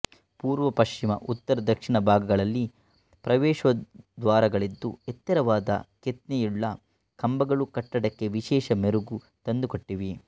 ಪೂರ್ವ ಪಶ್ಚಿಮ ಉತ್ತರ ದಕ್ಷಿಣ ಭಾಗಗಳಲ್ಲಿ ಪ್ರವೇಶದ್ವಾರಗಳಿದ್ದು ಎತ್ತರವಾದ ಕೆತ್ನೆಯುಳ್ಳ ಕಂಬಗಳು ಕಟ್ಟಡಕ್ಕೆ ವಿಶೇಷ ಮೆರುಗು ತಂದುಕೊಟ್ಟಿವೆ